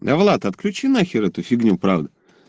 давлат отключи на хер эту фигню правда